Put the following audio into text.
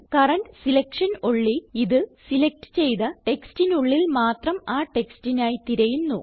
current selection only ഇത് select ചെയ്ത ടെക്സ്റ്റിനുള്ളിൽ മാത്രം ആ ടെക്സ്റ്റിനായി തിരയുന്നു